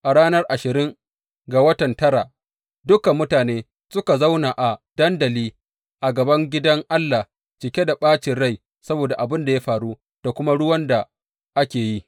A ranar ashirin ga watan tara, dukan mutanen suka zauna a dandali a gaban gidan Allah cike da ɓacin rai saboda abin da ya faru da kuma ruwan da aka yi.